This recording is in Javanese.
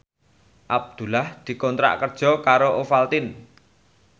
Abdullah dikontrak kerja karo Ovaltine